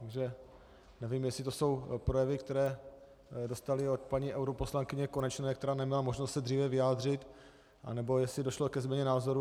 Takže nevím, jestli to jsou projevy, které dostali od paní europoslankyně Konečné, které neměla možnost se dříve vyjádřit, anebo jestli došlo ke změně názoru.